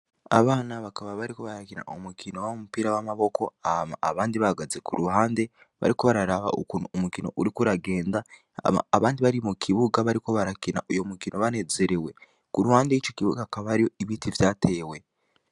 Abana bakaba bariko barakina umukino w’umupira w’amaboko hama abandi bahagaze kuruhande bariko bararaba ukuntu umukino uriko uragenda, hama abandi bari mu kibuga bariko barakina uwo mukino banezerewe. Kuruhande yico kibuga hakaba hariyo ibiti vyatewe.